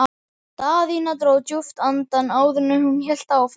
Daðína dró djúpt andann áður en hún hélt áfram.